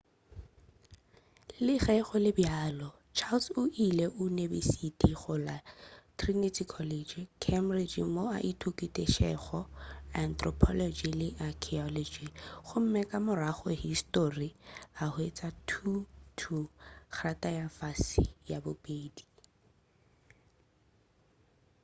le ge go le bjalo charles o ile unibesiti go la trinity college cambridge moo a ithutetšego anthropology le archaeology gomme ka morago histori a hwetša 2:2 kgrata ya fase ya bobedi